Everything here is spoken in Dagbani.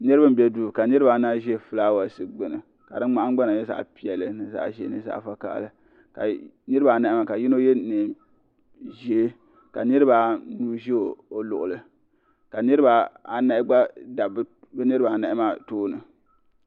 niriba n bɛ do ka niribaanahi ʒɛ ƒɔlawasi gbani karinahin gbana nyɛ zaɣ piɛli zaɣ ʒiɛ ni zaɣ' vakahili niribaanahi maa ka tino yɛ nɛʒiɛ ka niribaanu ʒɛ o luɣili ka niribaanahi gba dabi be niribaanahi maa tuuni